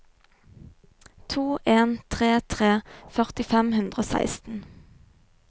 to en tre tre førti fem hundre og seksten